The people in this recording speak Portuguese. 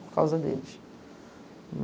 Por causa deles.